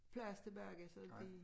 Plads tilbage så de